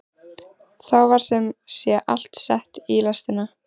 Þá var sem sé allt sett í lestina.